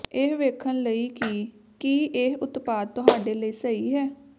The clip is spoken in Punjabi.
ਇਹ ਵੇਖਣ ਲਈ ਕਿ ਕੀ ਇਹ ਉਤਪਾਦ ਤੁਹਾਡੇ ਲਈ ਸਹੀ ਹੈ